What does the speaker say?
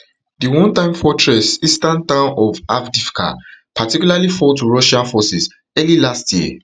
di one time fortress eastern town of avdiivka particularly avdiivka particularly fall to russian forces early last year